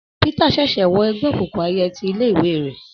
Pítà ṣẹ̀ṣẹ̀ wọ ẹgbẹ́ òkùnkùn ẹyẹ ti ilé ìwé rẹ̀.